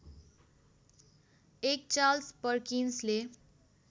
एक चार्ल्स पर्किन्सले